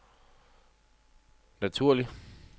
naturlig